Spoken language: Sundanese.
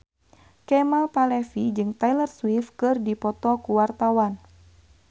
Kemal Palevi jeung Taylor Swift keur dipoto ku wartawan